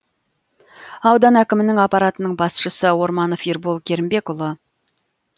аудан әкімінің аппаратының басшысы орманов ербол керімбекұлы